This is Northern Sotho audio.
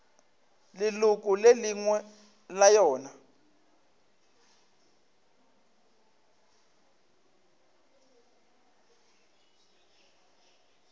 leloko le lengwe la yona